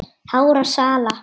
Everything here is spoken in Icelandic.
hárra sala.